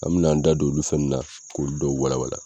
An bina da don olu fɛn ninnu na k'olu dɔw walawala.